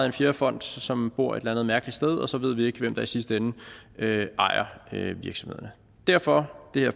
en fjerde fond som bor et eller andet mærkeligt sted og så ved vi ikke hvem der i sidste ende ejer virksomhederne derfor har